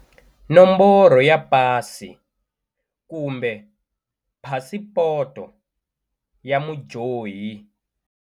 Nomboro ya pasi kumbe phasipoto ya mudyohi.